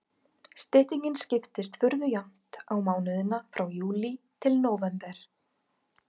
Styttingin skiptist furðu jafnt á mánuðina frá júlí til nóvember.